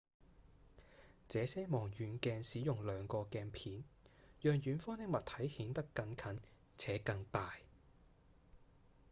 這些望遠鏡使用兩個鏡片讓遠方的物體顯得更近且更大